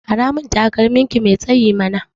Aramin takalmin ki mai tsayi mana